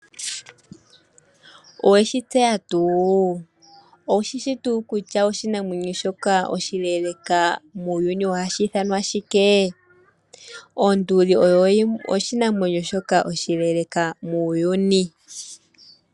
Oweshi tseya tuu kutya oshinamwenyo shoka oshile muuyuni ohashi ithanwa shike? Onduli osho oshinamwenyo shoka oshileeleka muuyuni